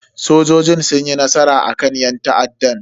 Sojojin sun yi nasara akan yan ta'addan.